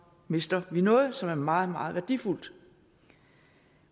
mister vi noget som er meget meget værdifuldt